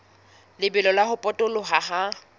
lebelo la ho potoloha ha